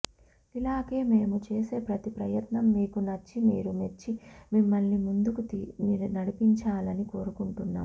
ఇలాగే మేము చేసే ప్రతి ప్రయత్నం మీకు నచ్చి మీరు మెచ్చి మమ్మల్ని ముందుకు నడిపించాలని కోరుకుంటున్నాం